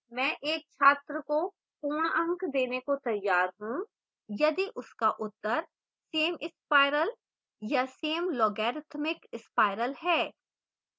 मैं एक छात्र को पूर्ण अंक देने को तैयार हूँ यदि उसका उत्तर